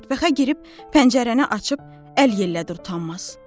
Mətbəxə girib pəncərəni açıb əl yellətdi utanmaz.